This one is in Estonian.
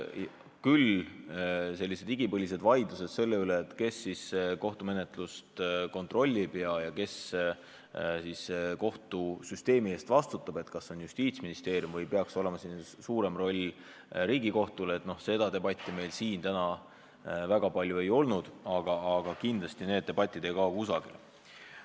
Küll sellist igipõlist vaidlust selle üle, kes kohtumenetlust kontrollib ja kes kohtusüsteemi eest vastutab, kas see on Justiitsministeerium või peaks siin olema suurem roll Riigikohtul, meil siin täna väga palju ei olnud, aga kindlasti ei kao need debatid kusagile.